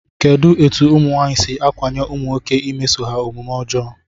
Kedụ etu ụmụnwaanyị si ákwànye ụmụnwoke imeso ha omume ọjọọ?